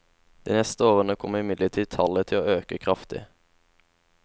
De neste årene kommer imidlertid tallet til å øke kraftig.